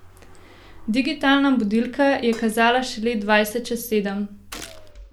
Digitalna budilka je kazala šele dvajset čez sedem.